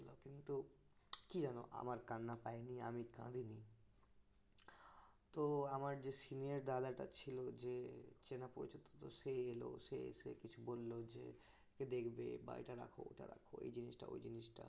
কি জানো আমার কান্না পায়নি আমি কাঁদিনি তো আমার যে দাদাটা ছিল যে চেনা পরিচিত তো সে এলো সে কিছু বলল যে এটা দেখবে বা এটা রাখো এই জিনিসটা ওই জিনিসটা